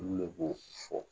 Olu de b'o fɔ